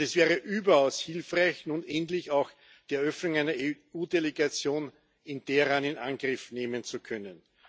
Und es wäre überaus hilfreich, nun endlich auch die Eröffnung einer EU Delegation in Teheran in Angriff nehmen zu können.